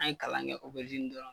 An ye kalan kɛ dɔrɔn